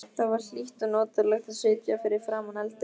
Það var hlýtt og notalegt að sitja fyrir framan eldinn.